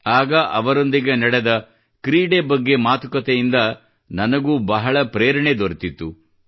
ಆಗ ಅವರೊಂದಿಗೆ ನಡೆದ ಕ್ರೀಡೆ ಬಗ್ಗೆ ಮತ್ತು ಮಾತುಕತೆಯೊಂದಿಗೆ ನನಗೂ ಬಹಳ ಪ್ರೇರಣೆ ದೊರೆತಿತ್ತು